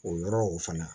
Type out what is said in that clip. O yɔrɔ o fana